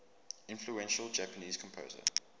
influential japanese composer